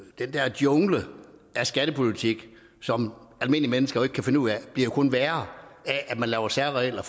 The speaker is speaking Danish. jungle af skattepolitik som almindelige mennesker jo ikke kan finde ud af det bliver kun værre af at man laver særregler